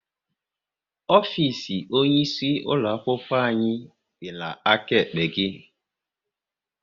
Ofisi onye isi ulo akwụkwọ anyị dị n'aka ekpe gị